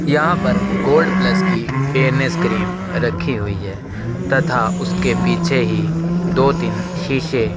यहाँ पर gold plus की फेयरनेस क्रीम रखी हुई है तथा उसके पीछे ही दो तीन शीशे --